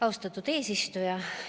Austatud eesistuja!